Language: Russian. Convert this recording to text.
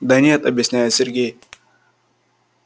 да нет объясняет сергей